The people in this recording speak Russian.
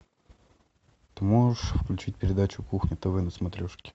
ты можешь включить передачу кухня тв на смотрешке